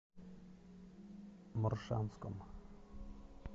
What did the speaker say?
моршанском